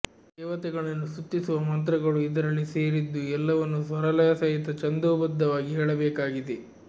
ದೇವತೆಗಳನ್ನು ಸ್ತುತಿಸುವ ಮಂತ್ರಗಳು ಇದರಲ್ಲಿ ಸೇರಿದ್ದು ಎಲ್ಲವನ್ನೂ ಸ್ವರಲಯಸಹಿತ ಛಂದೋಬದ್ದವಾಗಿ ಹೇಳಬೇಕಾಗಿದೆ